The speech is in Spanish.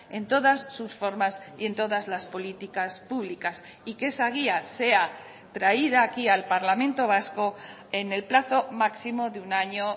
en todas sus formas y en todas las políticas públicas y que esa guía sea traída aquí al parlamento vasco en el plazo máximo de un año